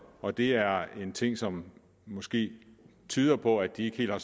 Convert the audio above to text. og det er en ting som måske tyder på at de ikke helt har